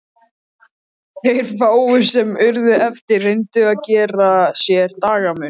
Þeir fáu sem urðu eftir reyndu að gera sér dagamun.